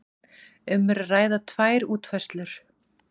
Um er að ræða tvær útfærslur